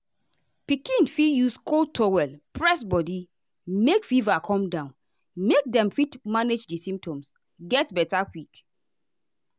pikin fit use cold towel press body make fever come down make dem fit manage di symptoms get beta quick.